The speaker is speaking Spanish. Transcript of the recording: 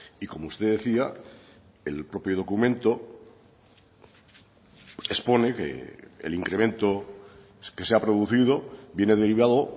y como usted decía el propio documento expone que el incremento que se ha producido viene derivado